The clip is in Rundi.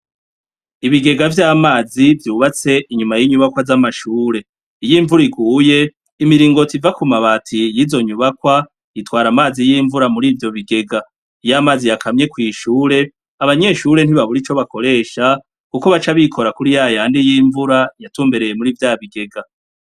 Ibigega vy'amazi vyubatse inyuma y'inyubakwa z'amashure iy'imvura iguye imiringoti iva kumabati y'izonyubakwa itwara amazi y'imvura mur'ivyobigega. Iyamazi yakamye kw'ishuri abanyeshuri ntibabura ico bakoresha kuko baca bikora kuri yayandi y'imvura yatumbereye muri vyabigega.